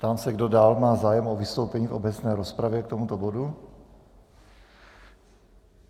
Ptám se, kdo dál má zájem o vystoupení v obecné rozpravě k tomuto bodu.